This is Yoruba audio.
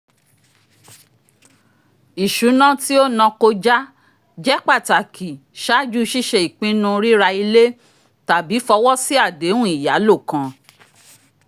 isuna tí o nakója jẹ pataki ṣaaju ṣiṣe ipinu rira ile tabi fowo si adehun iyalo kan